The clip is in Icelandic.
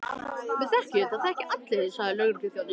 Við þekkjum þig, það þekkja þig allir sagði lögregluþjónninn.